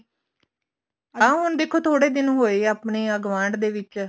ਆਹ ਹੁਣ ਦੇਖੋ ਥੋੜੇ ਦਿਨ ਹੋਏ ਆ ਆਪਣੇ ਗੁਆਂਢ ਦੇ ਵਿੱਚ